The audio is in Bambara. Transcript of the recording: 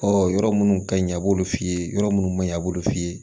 yɔrɔ minnu ka ɲi a b'olu f'i ye yɔrɔ munnu man ɲi a b'olu f'i ye